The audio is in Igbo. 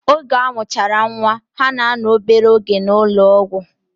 Oge amuchara nwaa, ha na ano obere oge na ulo ogwu.